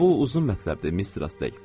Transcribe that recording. Amma bu uzun mətləbdir, Mistress Ley.